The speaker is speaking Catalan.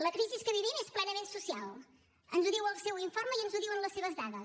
la crisi que vivim és plenament social ens ho diu el seu informe i ens ho diuen les seves dades